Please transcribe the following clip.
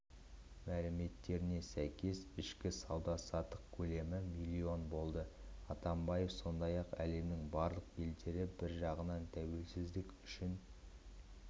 мәліметіне сәйкес кешкі сауда-саттық көлемі миллион болды атамбаев сондай-ақ әлемнің барлық елдері бір жағынан тәуелсіздік үшін